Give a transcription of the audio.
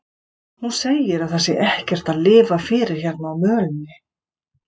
Hún segir að það sé ekkert að lifa fyrir hérna á mölinni.